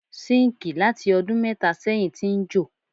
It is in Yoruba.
Síńkì láti ọdún mẹ́tà sẹ́yìn ti ń jò.